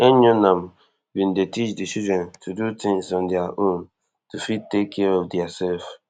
enyonam bin dey teach di children to dey do tins on dia own to fit take care of diasef